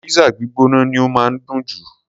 Pizza gbígbóná ni ó máa ń dùn jù.